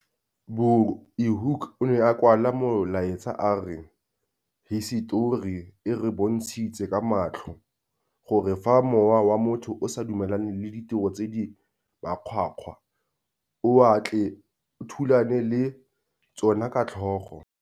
Bulhoek o ne a kwala molaetsa a re - Hisetori e re bontshitse ka matlho gore fa mowa wa motho o sa dumelane le ditiro tse di makgwakgwa o a tle o thulane le tsona ka tlhogo.